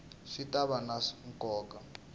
swi ta va na nkoka